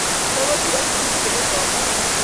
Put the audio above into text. Tũgũtigwo cukuru tũgĩthoma